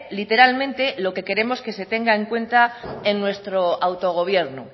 literalmente lo que queremos que se tenga en cuenta en nuestro autogobierno